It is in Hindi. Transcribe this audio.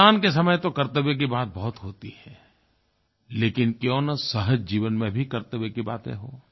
मतदान के समय तो कर्तव्य की बात बहुत होती है लेकिन क्यों न सहज जीवन में भी कर्तव्य की बातें हों